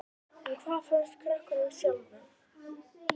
En hvað fannst krökkunum sjálfum?